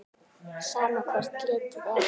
Sama hvert litið er.